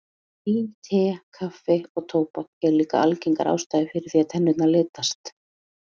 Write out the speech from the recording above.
Vín, te, kaffi og tóbak eru líka algengar ástæður fyrir því að tennurnar litast.